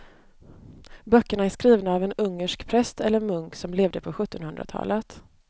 Böckerna är skrivna av en ungersk präst eller munk som levde på sjuttonhundratalet.